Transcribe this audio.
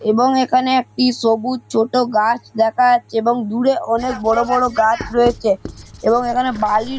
এবং এখানে একটি সবুজ ছোট গাছ দেখা যাচ্ছে এবং দূরে অনেক বড় বড় গাছ রয়েছে এবং এখানে বালির ।